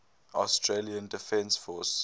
australian defence force